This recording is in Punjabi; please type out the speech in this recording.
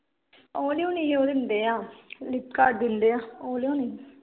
ਉਹ ਨੀ ਹੋਣੀ ਉਹ ਦਿੰਦੇ ਆ ਲਿਪ ਗਾਰਡ ਦਿੰਦੇ ਆ ਉਹ ਲਿਆਉਣੀ